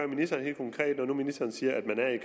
ministeren helt konkret når nu ministeren siger at man er i